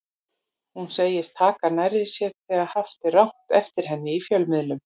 Hún segist taka nærri sér þegar haft er rangt eftir henni í fjölmiðlum.